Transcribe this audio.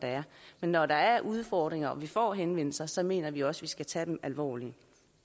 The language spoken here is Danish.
men når der er udfordringer og vi får henvendelser så mener vi også vi skal tage dem alvorligt